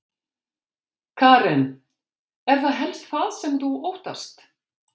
Karen: Er það helst það sem þú óttast?